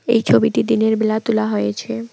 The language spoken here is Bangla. এই ছবিটি দিনেরবেলা তোলা হয়েছে।